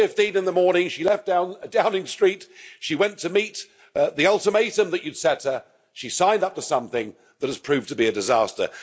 4.15 in the morning, she left Downing Street, she went to meet the ultimatum that you've set her, she signed up to something that has proved to be a disaster.